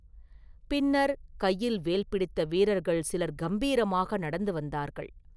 பின்னர், கையில் வேல் பிடித்த வீரர்கள் சிலர் கம்பீரமாக நடந்து வந்தார்கள்.